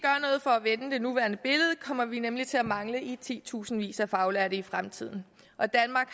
for at vende det nuværende billede kommer vi nemlig til at mangle i titusindvis af faglærte i fremtiden og danmark